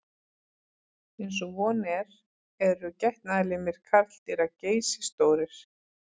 Eins og von er eru getnaðarlimir karldýra geysistórir.